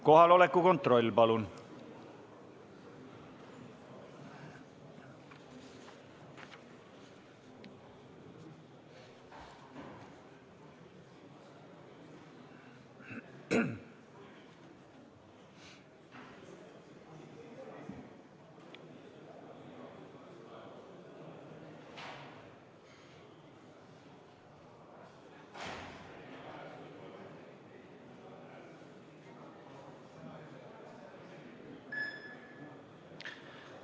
Kohaloleku kontroll, palun!